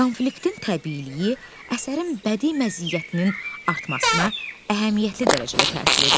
Konfliktin təbiiliyi, əsərin bədii məziyyətinin artmasına əhəmiyyətli dərəcədə təsir edir.